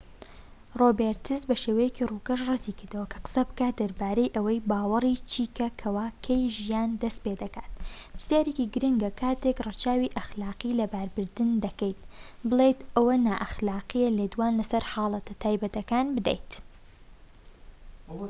ڕۆبێرتس بە شێوەیەکی ڕووکەش ڕەتی کردەوە کە قسە بکات دەربارەی ئەوەی باوەڕی چیکە کەوا کەی ژیان دەست پێدەکات پرسیارێکی گرنگە کاتێک ڕەچاوی ئەخلاقی لەباربردن دەکەیت بڵێیت ئەوە نائەخلاقییە لێدوان لەسەر حاڵەتە تایبەتەکان بدەیت